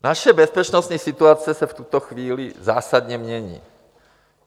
Naše bezpečnostní situace se v tuto chvíli zásadně mění.